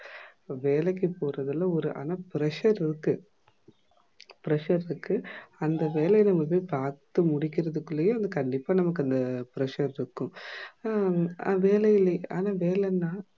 வேலைக்கு போறதுல ஒரு அனா pressure இருக்கு. pressure இருக்கு. அந்த வேலைய போய் நம்ப பாத்து முடிக்குறதுக்குள்ளயே கண்டிப்பா நமக்கு அந்த pressure இருக்கும். ஆஹ் ஹம் வேலையே ஆனா வேலனா